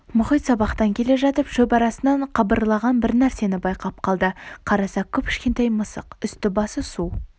мұхит сабақтан келе жатып шөп арасынан қыбырлаған бір нәрсені байқап қалды қараса кіп кішкентай мысық үсті басы су